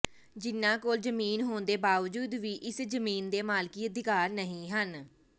ਜਿਨ੍ਹਾਂ ਕੋਲ ਜ਼ਮੀਨ ਹੋਣ ਦੇ ਬਾਵਜੂਦ ਵੀ ਇਸ ਜ਼ਮੀਨ ਦੇ ਮਾਲਕੀ ਅਧਿਕਾਰ ਨਹੀਂ ਹਨ